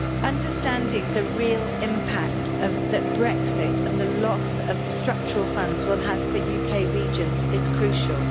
Understanding the real impact that Brexit and the loss of the Structural Funds will have for UK regions is crucial.